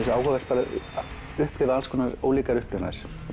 svo áhugavert að upplifa alls konar ólíkar upplifanir